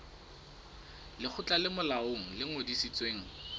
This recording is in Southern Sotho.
lekgotla le molaong le ngodisitsweng